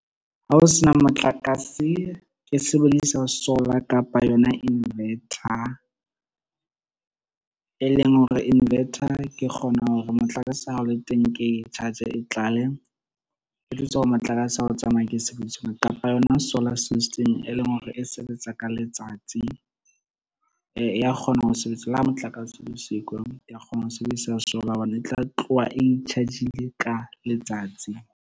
Ha ho sena motlakase ke sebedisa solar kapa yona invertor, e leng hore invertor ke kgona hore motlakase ha o le teng, ke charge e tlale. Ke itukisetse hore motlakase o tsamaya ke e sebedise kapa yona solar system e leng hore e sebetsa ka letsatsi, e a kgona ho sebetsa le ha motlakase o le siko ya kgona ho sebedisa solar hobane e tla tloha e i-charge-ile ka letsatsi.